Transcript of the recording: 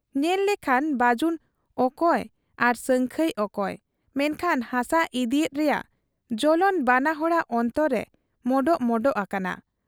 ᱧᱮᱞ ᱞᱮᱠᱷᱟᱱ ᱵᱟᱹᱡᱩᱱ ᱚᱠᱚᱭ ᱟᱨ ᱥᱟᱹᱝᱠᱷᱟᱹᱭ ᱚᱠᱚᱭ, ᱢᱮᱱᱠᱷᱟᱱ ᱦᱟᱥᱟ ᱤᱫᱤᱭᱮᱫ ᱨᱮᱭᱟᱜ ᱡᱚᱞᱚᱱ ᱵᱟᱱᱟ ᱦᱚᱲᱟᱜ ᱚᱱᱛᱚᱨ ᱨᱮ ᱢᱚᱰᱚᱜ ᱢᱚᱰᱚᱜ ᱟᱠᱟᱱᱟ ᱾